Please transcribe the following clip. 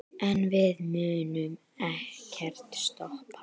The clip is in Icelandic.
En við munum ekkert stoppa.